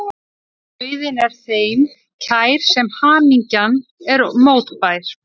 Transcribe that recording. Dauðinn er þeim kær sem hamingjan er mótbær.